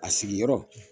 A sigiyɔrɔ